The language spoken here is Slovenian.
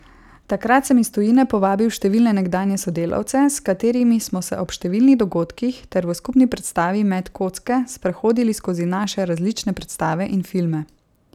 Takrat sem iz tujine povabil številne nekdanje sodelavce, s katerimi smo se ob številnih dogodkih ter v skupni predstavi Met kocke sprehodili skozi naše različne predstave in filme.